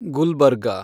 Gulbarga